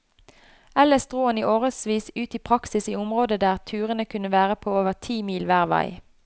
Ellers dro han i årevis ut i praksis i områder der turene kunne være på over ti mil hver vei.